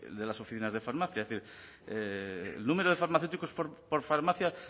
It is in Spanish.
de las oficinas de farmacia el número de farmacéuticos por farmacia